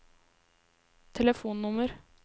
telefonnummer